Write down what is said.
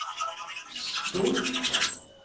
stort